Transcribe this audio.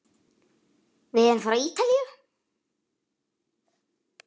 Við erum frá Ítalíu.